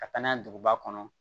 Ka taa n'a ye duguba kɔnɔ